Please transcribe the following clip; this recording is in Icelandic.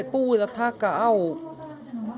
búið að taka á